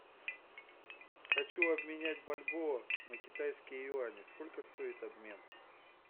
хочу обменять бальбоа на китайские юани сколько стоит обмен